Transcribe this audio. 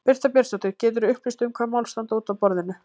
Birta Björnsdóttir: Geturðu upplýst um hvaða mál standa út af borðinu?